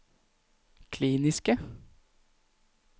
kliniske